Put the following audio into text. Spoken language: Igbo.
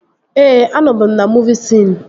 Ee, anọbu m na muuvi siin